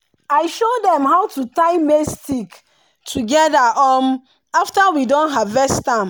i show dem how to tie maize stick together um after we don harvest am.